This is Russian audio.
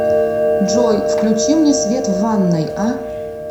джой включи мне свет в ванной а